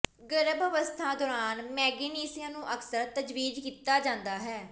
ਗਰਭ ਅਵਸਥਾ ਦੌਰਾਨ ਮੈਗਨੇਸੀਆ ਨੂੰ ਅਕਸਰ ਤਜਵੀਜ਼ ਕੀਤਾ ਜਾਂਦਾ ਹੈ